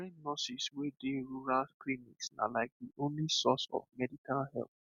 trained nurses wey dey rural clinic na like the only source of medical help